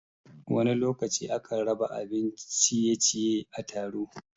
Wani lokaci a kan raba abin ciye-ciye a taro